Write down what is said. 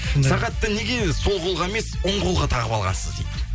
сағатты неге сол қолға емес оң қолға тағып алғансыз дейді